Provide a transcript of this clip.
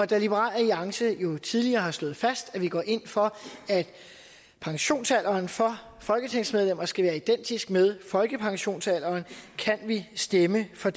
da liberal alliance jo tidligere har slået fast at vi går ind for at pensionsalderen for folketingsmedlemmer skal være identisk med folkepensionsalderen kan vi stemme for